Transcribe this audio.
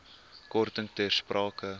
korting ter sprake